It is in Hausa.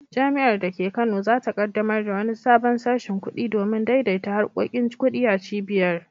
Jami’ar da ke Kano za ta kaddamar da wani sabon sashin kudi domin daidaita harkokin kudi a cibiyar.